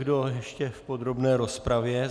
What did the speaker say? Kdo ještě v podrobné rozpravě?